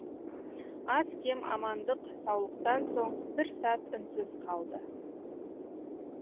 ал кез амандық саулықтан соң бір сәт үнсіз қалды